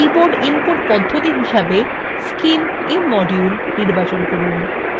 keyboard input পদ্ধতি হিসাবে scimimmodule নির্বাচন করুন